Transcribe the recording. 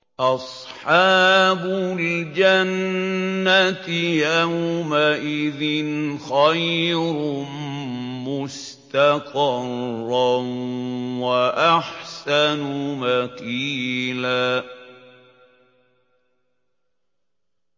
أَصْحَابُ الْجَنَّةِ يَوْمَئِذٍ خَيْرٌ مُّسْتَقَرًّا وَأَحْسَنُ مَقِيلًا